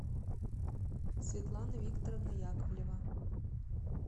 светлана викторовна яковлева